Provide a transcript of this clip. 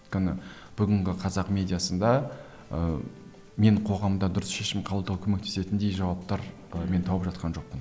өйткені бүгінгі қазақ медиасында ыыы мен қоғамда дұрыс шешім қабылдау көмектесетіндей жауаптар ы мен тауып жатқан жоқпын